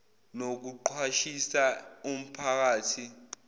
nokuqwashisa umpha kathi